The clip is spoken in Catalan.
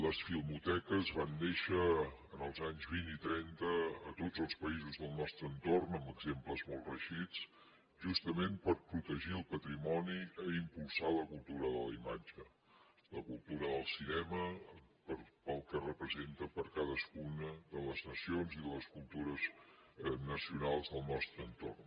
les filmoteques van néixer als anys vint i trenta a tots els països del nostre entorn amb exemples molt reeixits justament per protegir el patrimoni i impulsar la cultura de la imatge la cultura del cinema pel que representa per a cadascuna de les nacions i de les cultures nacionals del nostre entorn